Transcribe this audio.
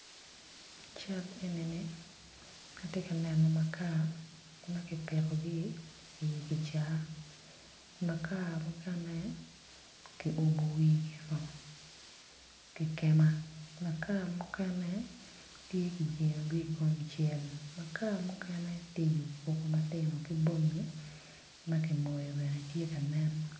I cal enini atye ka neno makar ma kipikogi i kicaa, makaar mukene kiumo wigio ki kema makaar mukene tye i kingi kun kicelo makaar mukene tye i kicaa ma tino ki bongi ma ki moyo bene tye ka nen.